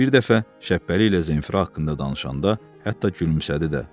Bir dəfə Şəhbəli ilə Zenfira haqqında danışanda hətta gülümsədi də.